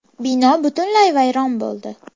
Bino butunlay vayron bo‘ldi.